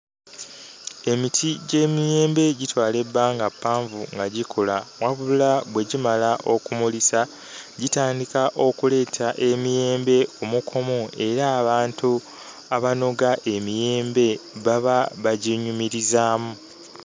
Emiti gy'emiyembe gitwala ebbanga ppanvu nga gikula wabula bwe gimala okumulisa gitandika okuleeta emiyembe kumukumu era abantu abanoga emiyembe baba bagyenyumirizaamu.